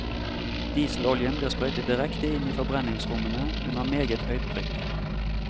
Dieseloljen blir sprøytet direkte inn i forbrennings rommene under meget høyt trykk.